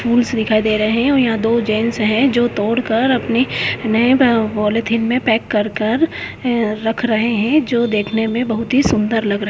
tools दिखाई दे रहे हैं ओर इहा दो जेंट्स है जो दौड़कर अपने नए उम पॉलिथीन में पैक कर कर उम रख रहे हैं जो देखने में बहुत ही सुंदर लग रहे --